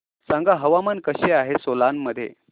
सांगा हवामान कसे आहे सोलान मध्ये